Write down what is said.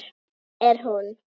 Hvaðan er hún?